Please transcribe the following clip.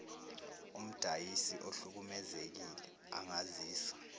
umdayisi ohlukumezekile angazisa